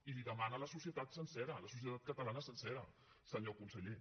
i li ho demana la societat sencera la societat catalana sencera senyor conseller